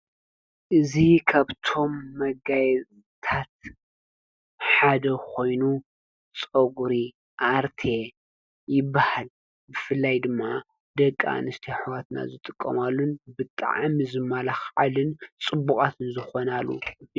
እዚ ካብቶም መጋየፅታት ሓደ ኮይኑ ፀጉሪ ኣርቴ ይበሃል። ብፍላይ ድማ ደቂ ኣንስትዮ ኣሕዋትና ዝጥቀማሉ ብጣዕሚ ዝማላካዓሉን ፅቡቃት ዝኾናሉን እዩ።